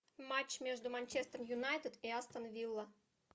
матч между манчестер юнайтед и астон вилла